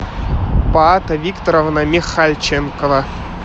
паата викторовна михальченкова